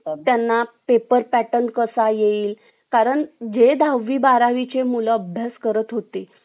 इथे मनोहर एक एक करून उपटून टाकत होता रायसाहेबांनी संतुश ची ओळख करून दिली अर्थात संतुश अजूनही मनोहर चा खरा खुरा चेहरा बघितला नव्हता